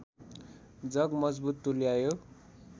जग मजबुत तुल्यायो